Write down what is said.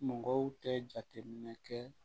Mɔgɔw tɛ jateminɛ kɛ